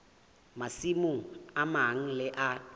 masimong a mang le a